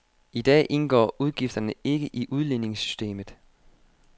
I dag indgår udgifterne ikke i udligningssystemet.